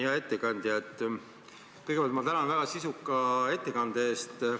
Hea ettekandja, kõigepealt ma tänan väga sisuka ettekande eest.